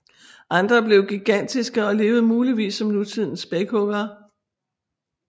Andre blev gigantiske og levede muligvis som nutidens spækhuggere